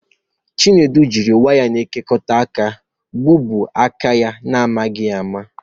Chinedu jiri waya na-ekekọta aka gbuo aka ya n'amaghị ama